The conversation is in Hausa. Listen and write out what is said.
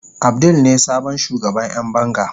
Abdul ne sabon shugaban Yan banga.